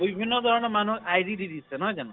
বিভিন্ন ধৰনৰ মানুহক ID দি দিছে নহয় জানো।